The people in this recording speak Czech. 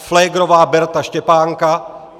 Pflegrová Berta Štěpánka